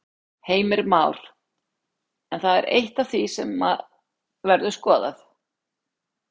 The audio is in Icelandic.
Heimir Már: En það er eitt af því sem verður skoðað?